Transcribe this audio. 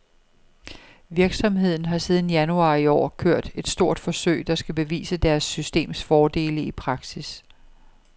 Virksomheden har siden januar i år kørt et stort forsøg, der skal bevise deres systems fordele i praksis.